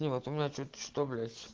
нет у меня чуть что блять